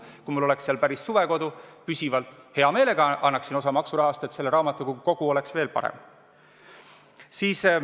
Kui mul oleks seal päris suvekodu, püsivalt, siis hea meelega annaksin osa oma maksurahast, et selle raamatukogu kogu oleks veel parem.